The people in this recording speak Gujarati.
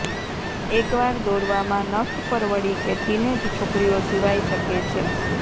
એકવાર દોરવામાં નખ પરવડી કે ટીનેજ છોકરીઓ સિવાય શકે છે